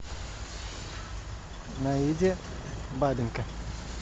наиде бабенко